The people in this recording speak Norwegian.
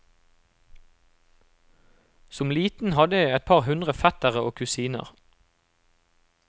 Som liten hadde jeg et par hundre fettere og kusiner.